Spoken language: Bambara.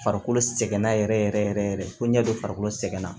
Farikolo sɛgɛnna yɛrɛ yɛrɛ yɛrɛ fo ɲɛ don farikolo sɛgɛn na